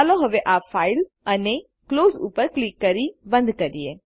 ચાલો હવે આ ફાઈલ ફાઇલ જીટીજીટીક્લોઝ ઉપર ક્લિક કરી બંધ કરીએ